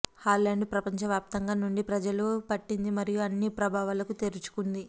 Holland ప్రపంచవ్యాప్తంగా నుండి ప్రజలు పట్టింది మరియు అన్ని ప్రభావాలకు తెరుచుకుంది